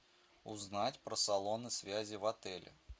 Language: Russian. узнать про салоны связи в отеле